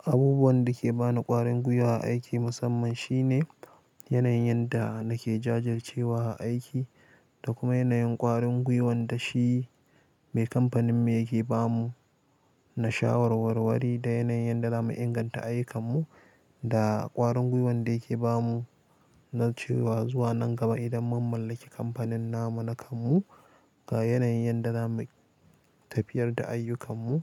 Abubuwan da ke ba ni ƙwarin gwiwa a aiki musamman shine yanayin yanda nake jajircewa a aiki da kuma yanayin ƙwarin gwiwan da shi mai kamfanin mu yake ba mu, na shawarwarwari, da yanayin yanda da mu inganta ayyukan mu da ƙwarin gwiwan da yake ba mu na cewa zuwa nan gaba idan mun mallaki kamfanin namu na kanmu ga yanayin da za mu tafiyar da ayyukan mu.